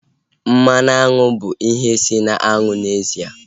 Mmanụ aṅụ bụ ihe si na aṅụ n'ezie